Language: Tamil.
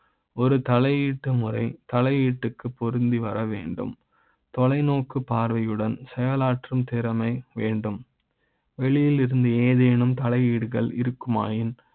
ஒரு தலை எழுத்து முறை தலையீட்டு க்குப் பொருந்தி வர வேண்டும் தொலைநோக்கு பார்வை யுடன் செயலாற்றும் திறமை வேண்டும் வெளி யிலிருந்து ஏதேனும் தலையீடுகள் இருக்குமா யின்